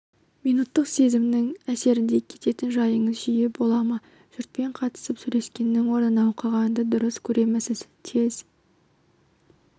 минуттық сезімнің әсерінде кететін жайыңыз жиі бола ма жұртпен қатысып сөйлескеннің орнына оқығанды дұрыс көремісіз тез